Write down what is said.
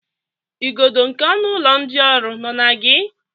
Igodo nke ọnụ ụlọ ndị ọrụ nọ na gị?